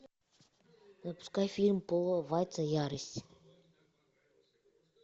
запускай фильм пола вайца ярость